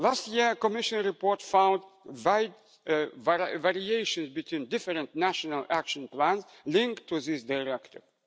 conclusions. Last year, a Commission report found wide variations between different national action plans linked to this